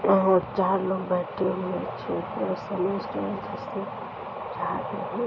चार लोग बैठते हुए --